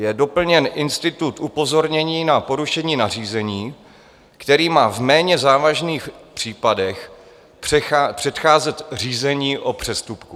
Je doplněn institut upozornění na porušení nařízení, který má v méně závažných případech předcházet řízení o přestupku.